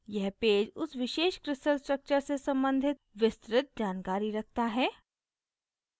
यह पेज उस विशेष crystal structure से सम्बंधित विस्तृत जानकारी रखता है